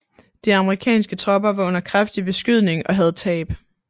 De amerikanske tropper var under kraftig beskydning og havde tab